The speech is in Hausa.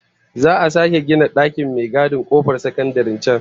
Za'a sake gina dakin mai gadin kofar sakandaren can